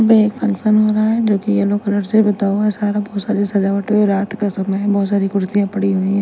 वे function हो रहा है जोकि येलो कलर सारा बहोत सारा सजावट हुई है रात का समय है बहुत सारी कुर्सियां पड़ी हुई है।